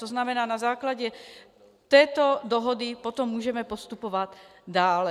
To znamená, na základě této dohody potom můžeme postupovat dále.